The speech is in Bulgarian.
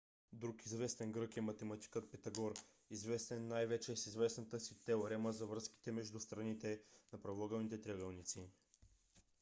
друг известен грък е математикът питагор известен най - вече с известната си теорема за връзките между страните на правоъгълните триъгълници